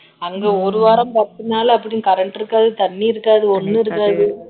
அங்க ஒரு வாரம் பத்து நாள் அப்படி current இருக்காது தண்ணி இருக்காது ஒண்ணும் இருக்காது